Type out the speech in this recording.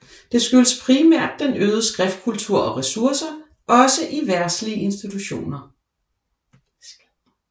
Det skyldes primært den øgede skriftkultur og ressourcer også i verdslige institutioner